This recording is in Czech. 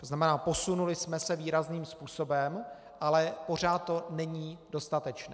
To znamená, posunuli jsme se výrazným způsobem, ale pořád to není dostatečné.